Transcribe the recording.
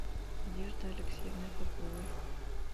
надеждой алексеевной поповой